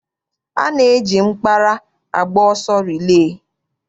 A na-eji mkpara agba ọsọ rilee.